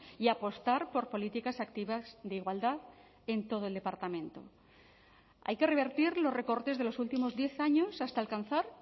y apostar por políticas activas de igualdad en todo el departamento hay que revertir los recortes de los últimos diez años hasta alcanzar